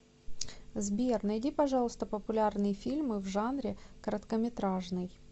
сбер найди пожалуйста популярные фильмы в жанре короткометражный